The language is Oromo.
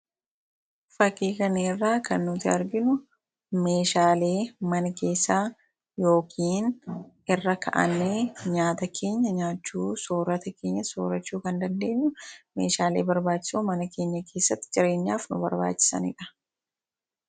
Fakii kana irraa kan nuti arginu meeshaalee mana keessaa yookiin irra ka’anii nyaata keenya nyaachuu soorata keenya soorachuu kan dandeenyu meeshaalee barbaachisu mana keenya keessatti jireenyaaf nu barbaachisaniidha.